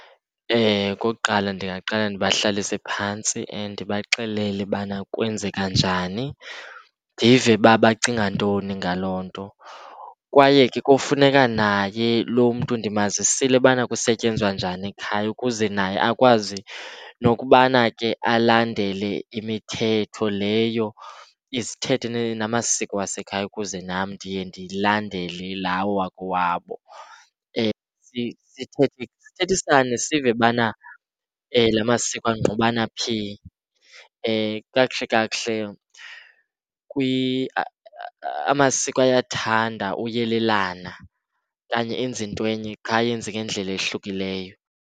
Okokuqala ndingaqala ndibahlalise phantsi ndibaxelele ubana kwenzeka njani, ndive uba bacinga ntoni ngaloo nto. Kwaye ke kufuneka naye loo mntu ndimazisile ubana kusetyenzwa njani ekhaya ukuze naye akwazi nokubana ke alandele imithetho leyo, izithethe, namasiko wasekhaya ukuze nam ndiye ndilandele lawo wakowabo. Sithethisane sive ubana la masiko angqubana phi. Kakuhle, kakuhle amasiko ayathanda ukuyelelana okanye enze into enye qha ayenze ngendlela eyahlukileyo.